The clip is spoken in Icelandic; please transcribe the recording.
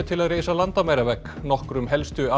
til að reisa landamæravegg nokkrum helstu